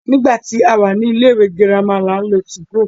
Nígbà tí a wà ní ilé ìwé girama ni à ń lo 2go.